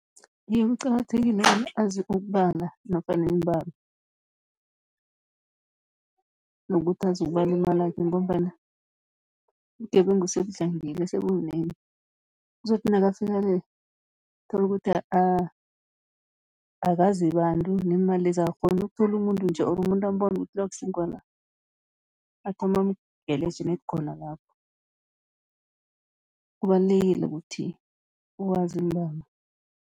Iye, kuqakathekile bona azi ukubala nofana iimbalo, nokuthi azi ukubala imalakhe, ngombana ubugebengu sebudlangile sebububunengi. Uzokuthi nakafika le tholukuthi akazi bantu neemalezi akakghoni, uyokuthola umuntu nje or umuntu ambone ukuthi lo akusi ngewala, athome amgalaje net khona lapho. Kubalulekile ukuthi wazi iimbalo.